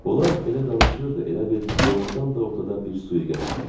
Onlar elə danışırdı, elə bil doğrudan da ortada bir sui-qəsd var idi.